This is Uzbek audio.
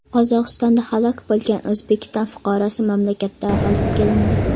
Qozog‘istonda halok bo‘lgan O‘zbekiston fuqarosi mamlakatga olib kelindi.